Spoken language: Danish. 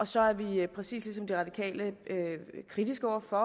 så er vi præcis ligesom de radikale kritiske over for